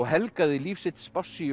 helgaði líf sitt